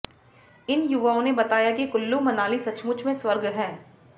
इन युवाओं ने बताया कि कुल्लू मनाली सचमुच में स्वर्ग है